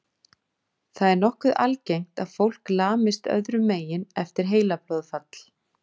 Það er nokkuð algengt að fólk lamist öðrum megin eftir heilablóðfall.